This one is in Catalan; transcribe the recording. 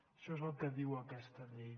això és el que diu aquesta llei